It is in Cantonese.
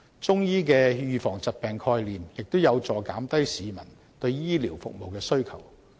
中醫的預防疾病概念，亦有助減低市民對醫療服務的需求。